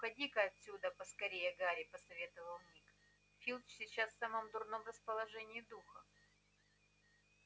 уходи-ка отсюда поскорее гарри посоветовал ник филч сейчас в самом дурном расположении духа